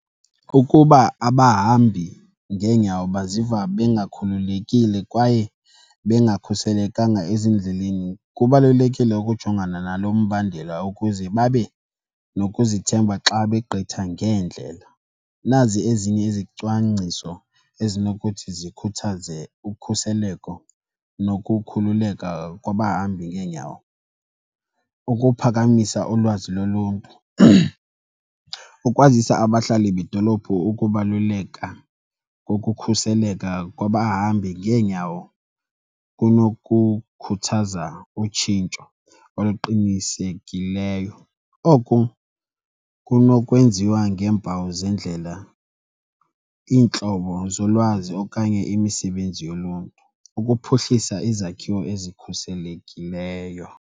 Ukuba abahambi ngeenyawo baziva bengakhululekile kwaye bengakhuselekanga ezindleleni, kubalulekile ukujongana nalo mbandela ukuze babe nokuzithemba xa begqitha ngeendlela. Nazi ezinye izicwangciso ezinokuthi zikhuthaze ukhuseleko nokukhululeka kwabahambi ngeenyawo. Ukuphakamisa ulwazi loluntu, ukwazisa abahlali bedolophu ukubaluleka kokukhuseleka kwabahambi ngeenyawo kunokukhuthaza utshintsho oluqinisekileyo. Oku kunokwenziwa ngeempawu zendlela, iintlobo zolwazi okanye imisebenzi yoluntu ukuphuhlisa izakhiwo ezikhuselekileyo.